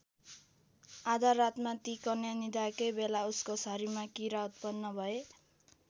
आधा रातमा ती कन्या निदाएकै बेला उसको शरीरमा किरा उत्पन्न भए।